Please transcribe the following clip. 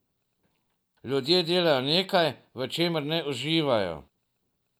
Ljudje delajo nekaj, v čemer ne uživajo.